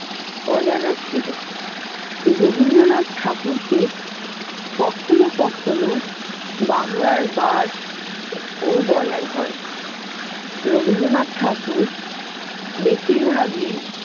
অজানা ছিল। রবীন্দ্রনাথ ঠাকুরকে কখনও কখনও বাংলার bird ও বলা হয় রবীন্দ্রনাথ ঠাকুর বেশিরভাগই।